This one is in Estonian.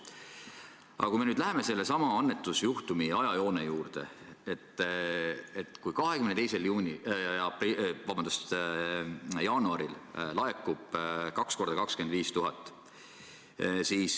Aga kui me nüüd läheme sellesama annetusjuhtumi ajajoone juurde, siis 22. jaanuaril laekub kaks korda 25 000.